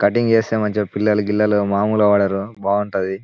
Cutting చేస్తే మంచిగా పిల్లలకి మామూలుగా కనబడరు బాగుంటది.